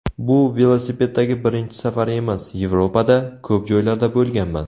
Bu velosipeddagi birinchi safari emas, Yevropada, ko‘p joylarda bo‘lganman.